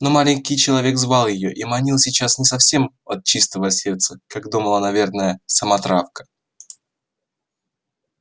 но маленький человек звал её и манил сейчас не совсем от чистого сердца как думала наверно сама травка